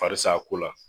Faris'a ko la